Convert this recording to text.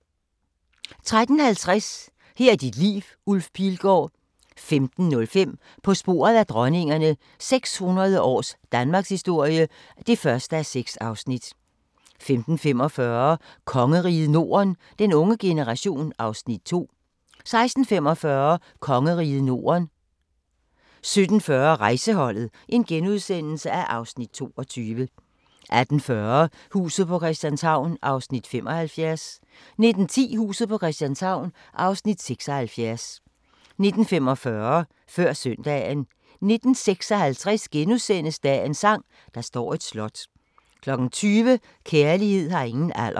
13:50: Her er dit liv – Ulf Pilgaard 15:05: På sporet af dronningerne – 600 års danmarkshistorie (1:6) 15:45: Kongeriget Norden - den unge generation (Afs. 2) 16:45: Kongeriget Norden 17:40: Rejseholdet (Afs. 22)* 18:40: Huset på Christianshavn (75:84) 19:10: Huset på Christianshavn (76:84) 19:45: Før Søndagen 19:56: Dagens sang: Der står et slot * 20:00: Kærlighed har ingen alder